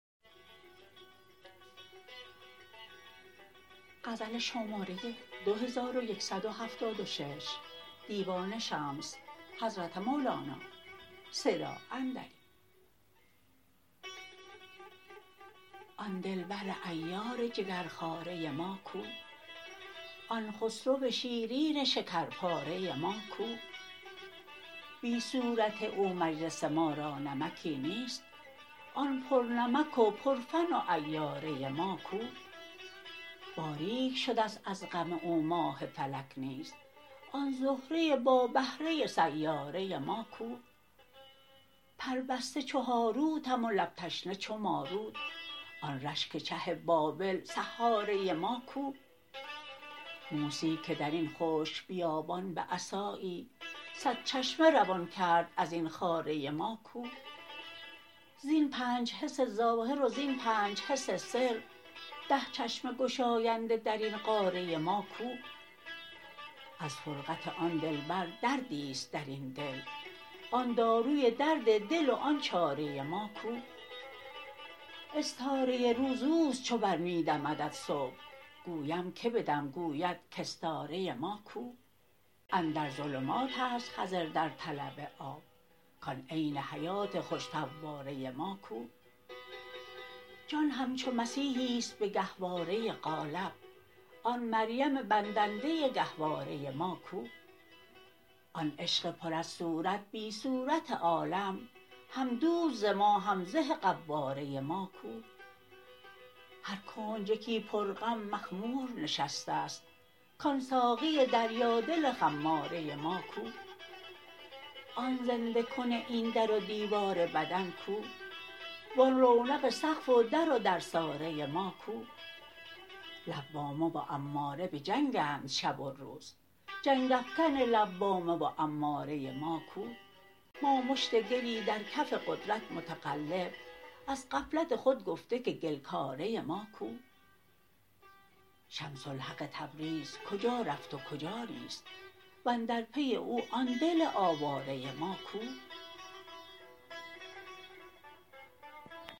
آن دلبر عیار جگرخواره ما کو آن خسرو شیرین شکرپاره ما کو بی صورت او مجلس ما را نمکی نیست آن پرنمک و پرفن و عیاره ما کو باریک شده ست از غم او ماه فلک نیز آن زهره با بهره سیاره ما کو پربسته چو هاروتم و لب تشنه چو ماروت آن رشک چه بابل سحاره ما کو موسی که در این خشک بیابان به عصایی صد چشمه روان کرد از این خاره ما کو زین پنج حسن ظاهر و زین پنج حسن سر ده چشمه گشاینده در این قاره ما کو از فرقت آن دلبر دردی است در این دل آن داروی درد دل و آن چاره ما کو استاره روز او است چو بر می ندمد صبح گویم که بدم گوید کاستاره ما کو اندر ظلمات است خضر در طلب آب کان عین حیات خوش فواره ما کو جان همچو مسیحی است به گهواره قالب آن مریم بندنده گهواره ما کو آن عشق پر از صورت بی صورت عالم هم دوز ز ما هم زه قواره ما کو هر کنج یکی پرغم مخمور نشسته ست کان ساقی دریادل خماره ما کو آن زنده کن این در و دیوار بدن کو و آن رونق سقف و در و درساره ما کو لوامه و اماره بجنگند شب و روز جنگ افکن لوامه و اماره ما کو ما مشت گلی در کف قدرت متقلب از غفلت خود گفته که گل کاره ما کو شمس الحق تبریز کجا رفت و کجا نیست و اندر پی او آن دل آواره ما کو